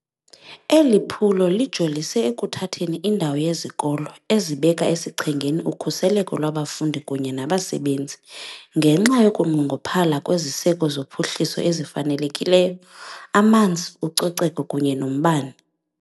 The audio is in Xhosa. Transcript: Eli phulo lijolise ekuthatheni indawo yezikolo ezibeka esichengeni ukhuseleko lwabafundi kunye nabasebenzi, ngenxa yokunqongophala kweziseko zophuhliso ezifanelekileyo, amanzi, ucoceko kunye nombane.